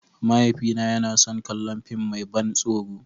Mahaifina yana son kallon fim mai ban tsoro.